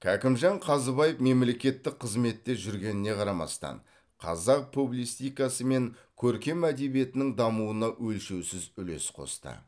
кәкімжан қазыбаев мемлекеттік қызметте жүргеніне қарамастан қазақ публистикасы мен көркем әдебиетінің дамуына өлшеусіз үлес қосты